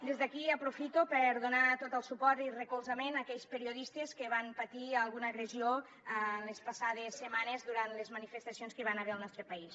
des d’aquí aprofito per donar tot el suport i recolzament a aquells periodistes que van patir alguna agressió en les passades setmanes durant les manifestacions que hi van haver al nostre país